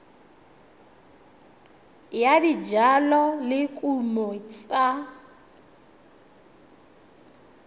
ya dijalo le dikumo tsa